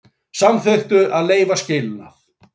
Samþykktu að leyfa skilnað